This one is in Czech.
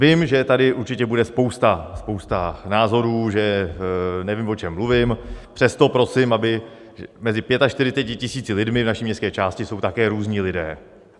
Vím, že tady určitě bude spousta názorů, že nevím, o čem mluvím, přesto prosím, aby... mezi 45 000 lidmi v naší městské části jsou také různí lidé.